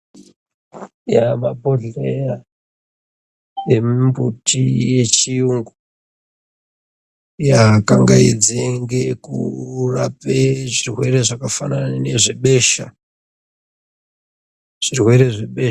Eya mabhodhleya emimbuti yechiyungu, yaa kangaidze ngeekurape zvirwere zvakafanana nezvebesha. Zvirwere zvebesha..